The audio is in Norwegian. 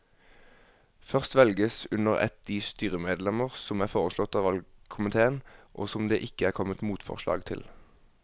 Først velges under ett de styremedlemmer som er foreslått av valgkomiteen og som det ikke er kommet motforslag til.